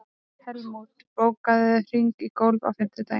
Helmút, bókaðu hring í golf á fimmtudaginn.